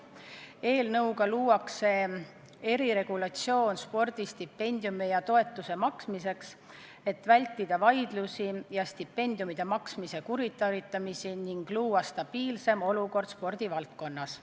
Eelnõuga luuakse eriregulatsioon spordistipendiumi ja toetuse maksmiseks, et vältida vaidlusi ja stipendiumide maksmise kuritarvitamist ning luua spordivaldkonnas stabiilsem olukord.